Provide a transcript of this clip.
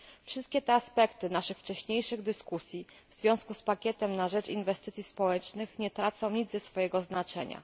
Wszystkie te aspekty naszych wcześniejszych dyskusji w związku z pakietem na rzecz inwestycji społecznych nie tracą nic ze swojego znaczenia.